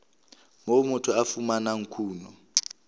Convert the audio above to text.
moo motho a fumanang kuno